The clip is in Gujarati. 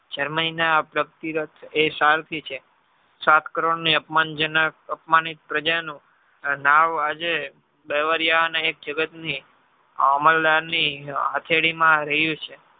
germany ના એસર થી છે સાત કરોડ ની અપમાનજનક અપમાનિત પ્રજાનું આજે બેવરિયા એક જગત અમલ દર ની હથેળી માં રહીયુ છે